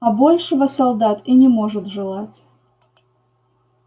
а большего солдат и не может желать